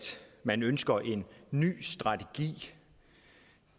man ønsker en ny strategi